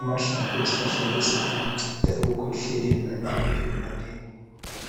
Amahlamvu esihlahla lesi ayanceda ekukhwehleleni kanye lekuvimbaneni